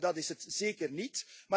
Dat is het zeker niet.